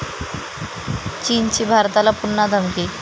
चीनची भारताला पुन्हा धमकी